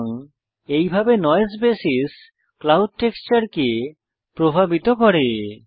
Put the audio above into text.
সুতরাং এইভাবে noise basis cloud টেক্সচারকে প্রভাবিত করে